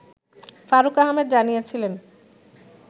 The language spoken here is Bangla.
ফারুক আহমেদ জানিয়েছিলেন